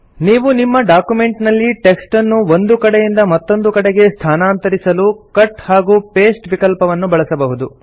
ನೀವು ನಿಮ್ಮ ಡಾಕ್ಯುಮೆಂಟ್ ನಲ್ಲಿ ಟೆಕ್ಸ್ಟ್ ಅನ್ನು ಒಂದು ಕಡೆಯಿಂದ ಮತ್ತೊಂದು ಕಡೆಗೆ ಸ್ಥಾನಾಂತರಿಸಲು ಕಟ್ ಹಾಗೂ ಪಾಸ್ಟೆ ವಿಕಲ್ಪವನ್ನು ಬಳಸಬಹುದು